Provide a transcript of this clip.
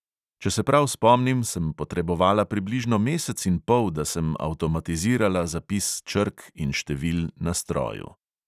Če se prav spomnim, sem potrebovala približno mesec in pol, da sem avtomatizirala zapis črk in števil na stroju.